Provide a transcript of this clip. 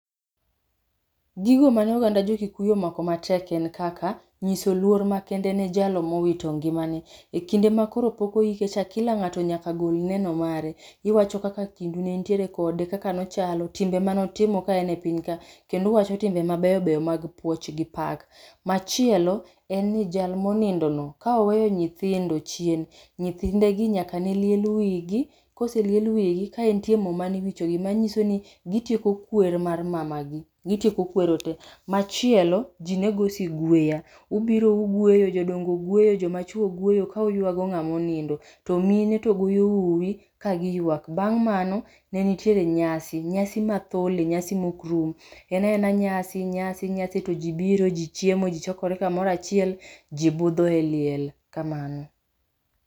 Gigo mane oganda jo Kikuyu omako matek en kaka nyiso luor makende ne jalo mowito ngimane. E kinde ma koro pok oike cha kila ng'ato nyaka gol neno mare. Iwacho kaka kinde nentiere kode, kaka nochalo, timbe manotimo kaen e piny ka. Kenduwacho timbe mabeyo beyo mag puoch gi pak. Machielo en ni jal monindo no ka oweyo nyithindo chien, nyithide gi nyaka ne liel wigi, koseliel wigi kae ntie mo maniwichogo. Manyiso ni gitieko kwer mar mamagi, gitieko kwero te. Machielo, ji nego sigueya. Ubiro ugweyo, jodongo gweyo, joma chwo gweyo kauywago ng'amonindo. To mine to goyo uwi ka giyuak, bang' mano ne nitiere nyasi. Nyasi ma thole, nyadhi mok rum. En aena nyasi, nyasi, nyasi to ji biro, ji chiemo, ji chokore kamorachiel. Ji budho e liel, kamano.